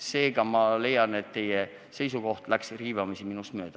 Seega ma leian, et teie seisukoht läks riivamisi minust mööda.